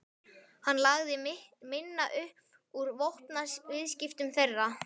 Hann lagði minna upp úr vopnaviðskiptum þeirra.